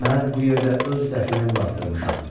Mən bu yerdə öz dəfinəmi basdırmışam.